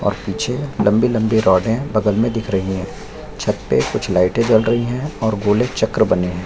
और पीछे लम्बी -लम्बी रॉडे बगल में दिख रही है छत पे कुछ लाइटें जल रही है और गोले चक्र बने हैं।